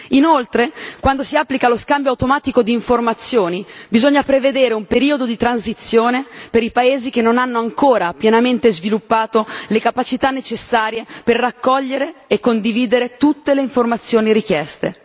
Inoltre, quando si applica lo scambio automatico di informazioni, bisogna prevedere un periodo di transizione per i paesi che non hanno ancora pienamente sviluppato le capacità necessarie per raccogliere e condividere tutte le informazioni richieste.